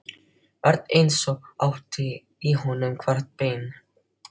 Örn eins og hún ætti í honum hvert bein.